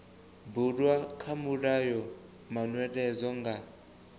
bulwa kha mulayo manweledzo nga